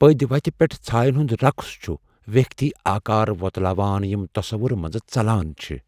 پدۍوتہِ پیٹھ ژھاین ہُند رقص چھُ ویکھتۍ آكار ووتلاوان یِم تصوُرٕ منزٕ ژلان چھِ ۔